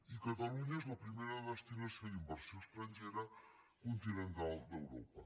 i catalunya és la primera destinació d’inversió estrangera continental d’europa